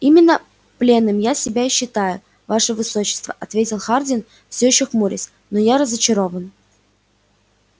именно пленным я себя и считаю ваше высочество ответил хардин всё ещё хмурясь но я разочарован